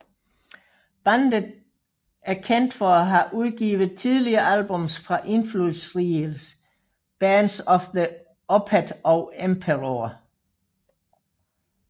Bandet er kendt for at have udgivet tidlige albums fra indflydelsesrige bands som Opeth og Emperor